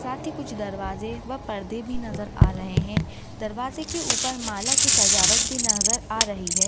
साथ ही कुछ दरवाजे व पर्दे भी नजर आ रहे है दरवाजे के ऊपर माला की सजावट भी नजर आ रही है।